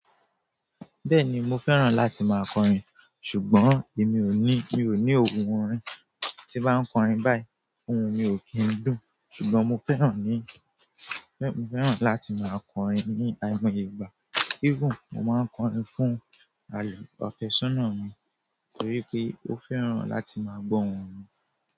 Bẹ́ẹ̀ni mo fẹ́ràn láti máa kọrin ṣùgbọ́n èmi ò ní, mi ò ní ohùn orin tí m bá ń kọrin báyìí. Ohùn mi ò kí n dùn ṣùgbọ́n mo fẹ́ràn ní, mo fẹ́ràn láti máa kọrin ní àìmọ̀ Yorùbá. Even mo máa ń kọrin fún àlọ́, afẹsọna mi torí pé ó fẹ́ràn láti máa gbọ ohùn mi.